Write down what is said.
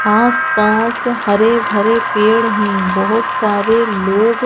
आस-पास हरे-भरे पेड़ है बहोत सारे लोग--